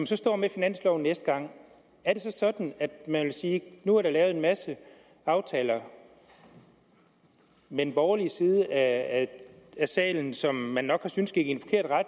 så står med finansloven næste gang er det så sådan at man vil sige at nu er der lavet en masse aftaler med den borgerlige side af salen som man nok synes gik i